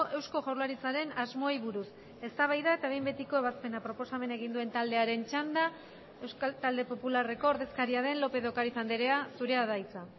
eusko jaurlaritzaren asmoei buruz eztabaida eta behin betiko ebazpena proposamena egin duen taldearen txanda euskal talde popularreko ordezkaria den lópez de ocariz andrea zurea da hitza